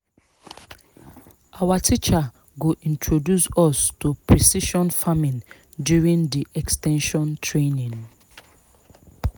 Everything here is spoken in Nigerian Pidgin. our teacher go introduce us to precision farming during the ex ten sion training